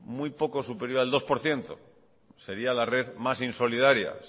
muy poco superior al dos por ciento sería la red más insolidaria